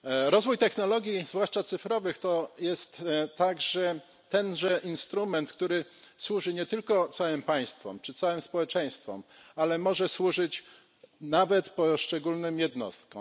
Rozwój technologii, zwłaszcza cyfrowych, to jest także tenże instrument, który służy nie tylko całym państwom czy całym społeczeństwom, ale może służyć nawet poszczególnym jednostkom.